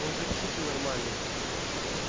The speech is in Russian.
он же псих ненормальный